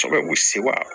Kosɛbɛ u bɛ sewa